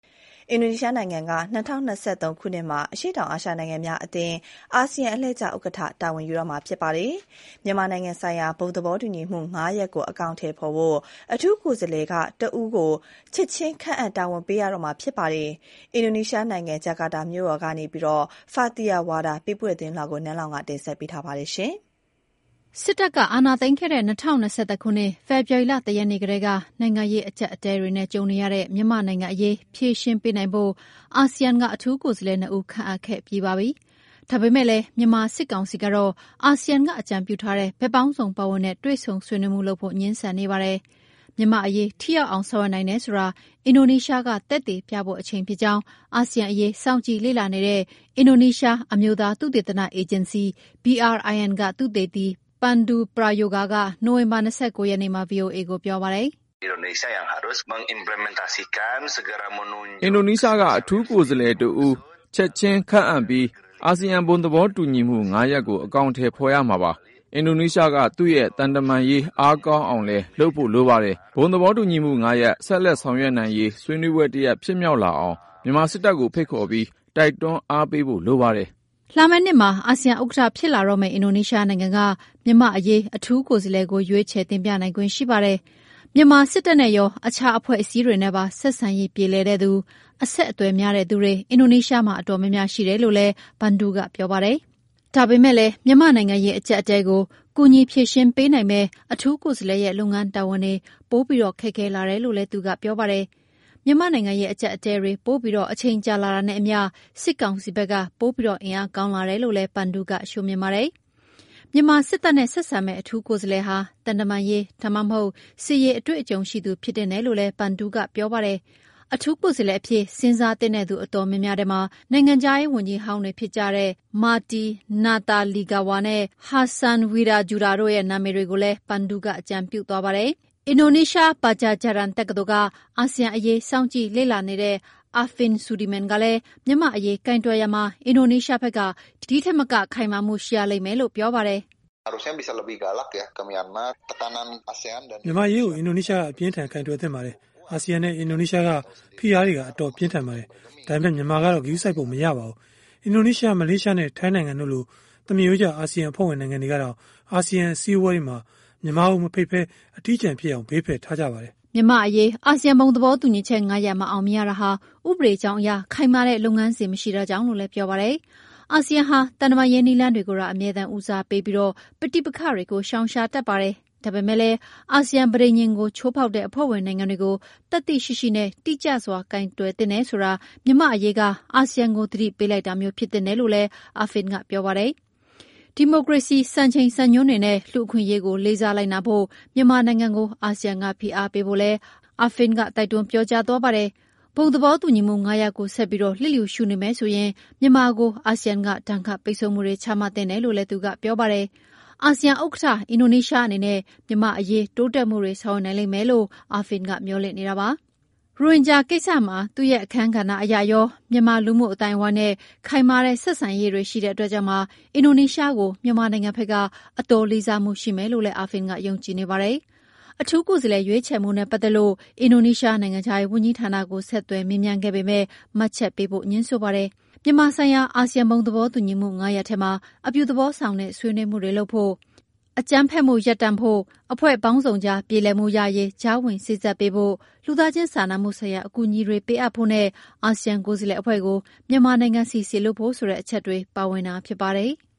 အင်ဒိုနီးရှားနိုင်ငံက ၂၀၂၃ ခုနှစ်အတွက် အရှေ့တောင်အာရှနိုင်ငံများအသင်း အာဆီယံအလှည့်ကျ ဥက္ကဌ တာဝန်ယူတော့မှာပါ။ မြန်မာနိုင်ငံဆိုင်ရာ ဘုံသဘောတူညီမှု ၅ ရပ်ကို အကောင်အထည်ဖော်ဖို့ အထူးကိုယ်စားလှယ်က တဦးကို ချက်ချင်း ခန့်အပ်တာဝန်ပေးရတော့မှာလည်း ဖြစ်ပါတယ်။ အင်ဒိုနီးရှားနိုင်ငံ ဂျကာတာကနေ Fathiyah Wardah ပေးပို့ထားတဲ့သတင်းလွှာကို နန်းလောင်ဝ်က ဆက်ပြီးတင်ပြမှာပါ။ စစ်တပ်က အာဏာသိမ်းခဲ့တဲ့ ၂၀၂၁ ခုနှစ် ဖေဖော်ဝါရီလ ၁ ရက်နေ့ကတည်းက နိုင်ငံရေး အကျပ်အတည်းတွေနဲ့ ကြုံနေရတဲ့ မြန်မာနိုင်ငံအရေး ဖြေရှင်းပေးနိုင်ဖို့ အာဆီယံက အထူးကိုယ်စားလှယ် ၂ ဦး ခန့်အပ်ခဲ့ပြီးပါပြီ။ ဒါပေမဲ့လည်း မြန်မာစစ်ကောင်စီကတော့ အာဆီယံက အကြံပြုထားတဲ့ ဘက်ပေါင်းစုံ ပါဝင်တဲ့ တွေ့ဆုံဆွေးနွေးမှု လုပ်ဖို့ ငြင်းဆန်နေပါတယ်။ မြန်မာ့အရေး ထိရောက်အောင် ဆောင်ရွက်နိုင်တယ်ဆိုတာ အင်ဒိုနီးရှားက သက်သေပြဖို့ အချိန်ဖြစ်ကြောင်း အာဆီယံအရေး စောင့်ကြည့်လေ့လာနေတဲ့ အင်ဒိုနီးရှား အမျိုးသား သုတေသနအေဂျင်စီ BRIN ကသုတေသီ Pandu Prayoga က နိုဝင်ဘာ ၂၉ ရက်နေ့မှာ ဗွီအိုအေကိုပြောပါတယ်။ “ အင်ဒိုနီးရှားက အထူးကိုယ်စားလှယ် တဦး ချက်ချင်းခန့်အပ်ပြီး အာဆီယံ ဘုံသဘောတူညီမှု ၅ ရပ်ကို အကောင်အထည် ဖော်ရမှာပါ။ အင်ဒိုနီးရှားက သူ့ရဲ့ သံတမန်ရေး အားကောင်းအောင်လည်း လုပ်ဖို့လိုပါတယ်။ ဘုံသဘောတူညီမှု ၅ ရပ် ဆက်လက် ဆောင်ရွက်နိုင်ရေး ဆွေးနွေးပွဲတရပ် ဖြစ်မြောက်လာအောင် မြန်မာစစ်တပ်ကို ဖိတ်ခေါ်ပြီး တိုက်တွန်းအားပေးဖို့လိုပါတယ်။ ” လာမယ့်နှစ်မှာ အာဆီယံ ဥက္ကဌဖြစ်လာမယ့် အင်ဒိုနီးရှားနိုင်ငံက မြန်မာ့အရေး အထူးကိုယ်စားလှယ်ကို ရွေးချယ်တင်ပြနိုင်ခွင့် ရှိပါတယ်။ မြန်မာစစ်တပ်နဲ့ရော အခြားအဖွဲ့အစည်းတွေနဲ့ပါ ဆက်ဆံရေး ပြေလည်တဲ့သူ၊ အဆက်အသွယ်များတဲ့လူတွေ အင်ဒိုနီးရှားမှာ အတော်များများ ရှိတယ်လို့လည်း Pandu ကပြောပါတယ်။ ဒါပေမဲ့လည်း မြန်မာ့နိုင်ငံရေး အကျပ်အတည်းကို ကူညီဖြေရှင်းပေးနိုင်မယ့် အထူးကိုယ်စားလှယ်ရဲ့ လုပ်ငန်းတာဝန်တွေပိုပြီး ခက်ခဲလာတယ်လို့လည်း သူကပြောပါတယ်။ မြန်မာ့နိုင်ငံရေး အကျပ်အတည်းတွေ ပိုပြီး အချိန်ကြာလာတာနဲ့ အမျှ စစ်ကောင်စီဖက်က ပိုပြီး အင်အားကောင်းလာတယ်လို့လည်း Pandu ကမြင်ပါတယ်။ မြန်မာစစ်တပ်နဲ့ ဆက်ဆံမယ့် အထူးကိုယ်စားလှယ်ဟာ သံတမန်ရေး ဒါမှမဟုတ် စစ်ရေး အတွေ့အကြုံရှိသူ ဖြစ်သင့်တယ်လို့လည်း Pandu ကပြောပါတယ်။ အထူးကိုယ်စားလှယ်အဖြစ် စဉ်းစားသင့်တဲ့သူ အတော်များများထဲမှာ နိုင်ငံခြားရေး ဝန်ကြီးဟောင်းတွေဖြစ်တဲ့ Marty Natalegawa နဲ့ Hassan Wirajuda တို့ရဲ့နာမည်တွေကိုလည်း Pandu ကအကြံပြုသွားပါတယ်။ အင်ဒိုနီးရှား Padjadjaran တက္ကသိုလ်က အာဆီယံအရေး စောင့်ကြည့်လေ့လာနေတဲ့ Arfin Sudirman ကလည်း မြန်မာ့အရေး ကိုင်တွယ်ရာမှာ အင်ဒိုနီးရှားဖက်က ဒီထက်မက ခိုင်မာမှုှ ရှိရလိမ့်မယ်လို့ ပြောပါတယ်။ “ မြန်မာကိစ္စကို အင်ဒိုနီးရှားက အပြင်းအထန် ကိုင်တွယ်သင့်ပါတယ်။ အာဆီယံနဲ့ အင်ဒိုနီးရှားက ဖိအားတွေက အတော်ပြင်းထန်ပါတယ်။ ဒါပေမဲ့ မြန်မာကတော့ ဂရုစိုက်ပုံမရပါဘူး။ အင်ဒိုနီးရှားနဲ့ မလေးရှားနဲ့ ထိုင်းနိုင်ငံတို့လို သမားရိုးကျ အာဆီယံအဖွဲ့ဝင် နိုင်ငံတွေကတောင် အာဆီယံ အစည်းအဝေးတွေမှာ မြန်မာကို မဖိတ်ဘဲ အထီးကျန်ဖြစ်အောင် ဘေးဖယ်ထားကြပါတယ်။ ” မြန်မာ့အရေး အာဆီယံ ဘုံသဘောတူညီချက် ၅ ရပ် မအောင်မြင်ရတာဟာ ဥပဒေကြောင်းအရ ခိုင်မာတဲ့ လုပ်ငန်းစဉ် မရှိတာကြောင့်လို့လည်း ပြောပါတယ်။ အာဆီယံဟာ သံတမန်ရေး နည်းလမ်းကိုသာ အမြဲဦးစားပေးပြီး ပဋိပက္ခတွေကို ရှောင်ရှားတတ်ပါတယ်။ ဒါပေမဲ့လည်း အာဆီယံပဋိဉာဉ်ကို ချိုးဖောက်တဲ့ အဖွဲ့ဝင်နိုင်ငံတွေကို သတ္တိရှိရှိနဲ့ တိကျစွာ ကိုင်တွယ်သင့်တယ်ဆိုတာ မြန်မာ့အရေးက အာဆီယံကို သတိပေးလိုက်တာမျိုး ဖြစ်သင့်တယ် လို့ Arfin ကပြောပါတယ်။ ဒီမိုကရေစီ စံချိန်စံညွှန်းတွေနဲ့ လူ့အခွင့်အရေးကို လေးစားလိုက်နာဖို့ မြန်မာနိုင်ငံကို အာဆီယံက ဖိအားပေးဖို့လည်း Arfin က တိုက်တွန်းပြောကြားသွားပါတယ်။ ဘုံသဘောတူညီမှု ၅ ရပ်ကိုဆက်ပြီး လစ်လျူရှု နေမယ်ဆိုရင် မြန်မာကို အာဆီယံက ဒဏ်ခတ်ပိတ်ဆို့မှုတွေ ချမှတ်သင့်တယ်လို့လည်း Arfin ကပြောပါတယ်။ အာဆီယံ ဥက္ကဌ အင်ဒိုနီးရှား အနေနဲ့ မြန်မာ့အရေး တိုးတက်မှုတွေ ဆောင်ရွက်နိုင်လိမ့်မယ်လို့ Arfin ကမေ ျှာ်လင့်နေတာပါ။ ရိုဟင်ဂျာ ကိစ္စမှာ သူ့ရဲ့ အခန်းကဏ္ဍ အရရော မြန်မာလူမှု အသိုင်းအဝိုင်းနဲ့ ခိုင်မာတဲ့ ဆက်ဆံရေးရှိတဲ့ အတွက်ကြောင့်ပါ အင်ဒိုနီးရှားကို မြန်မာနိုင်ငံဖက်က အတော်လေးစားမှု ရှိမယ်လို့လည်း Arfin က ယုံကြည်နေပါတယ်။ အထူး ကိုယ်စားလှယ် ရွေးချယ်မှုနဲ့ပတ်သက်လို့ အင်ဒိုနီးရှား နိုင်ငံခြားရေး ဝန်ကြီးဌာနကို ဆက်သွယ်မေးမြန်းခဲ့ပေမဲ့ မှတ်ချက်ပေးဖို့ ငြင်းဆိုပါတယ်။ မြန်မာဆိုင်ရာ အာဆီယံဘုံသဘောတူညီမှု ၅ ရပ်ထဲမှာ အပြုသဘောဆောင်တဲ့ ဆွေးနွေးမှုလုပ်ဖို့၊ အကြမ်းဖက်မှုလေ ျှာ့ချဖို့၊ အဖွဲ့ပေါင်းစုံကြား ပြေလည်မှုရရေး ကြားဝင်စေ့စပ်ပေးဖို့၊ လူသားချင်းစာနာမှုဆိုင်ရာ အကူအညီတွေ ပေးအပ်ဖို့နဲ့ အာဆီယံ ကိုယ်စားလှယ်အဖွဲ့ကို မြန်မာနိုင်ငံဆီ စေလွှတ်ဖို့ ဆိုတဲ့အချက်တွေ ပါဝင်တာဖြစ်ပါတယ်။